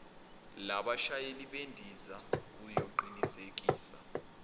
labashayeli bendiza uyoqinisekisa